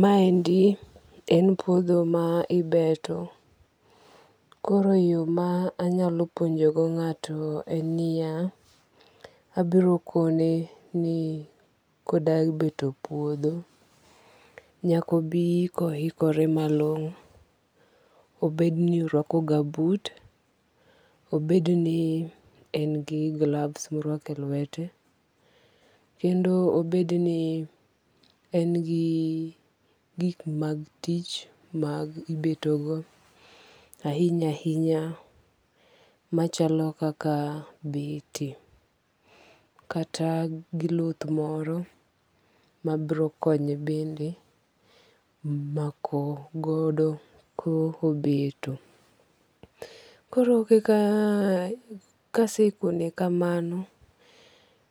Ma endi en puodho ma ibeto. Koro yo ma anyalo puonjo go ng'ato en niya. Abiro kone ni koda beto puodho nyaka obi kohikore malong'o. Obed ni orwako gumboot. Obed ni en gi gloves morwako e lwete. Kendo obed ni en gi gik mag tich ma ibeto go ahinya ahinya machalo kaka beti. Kata gi luth moro ma biro konye bende mako godo ko obeto. Koro kaka kase kone kamano